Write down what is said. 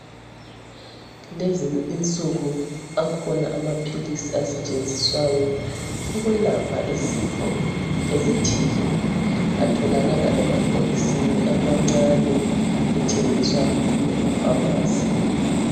Lezi insuku akhona amaphilisi asetshenziswayo ukwelapha izifo ezithile atholakala emabhokisini amancane ethengiswa ema phamarcy.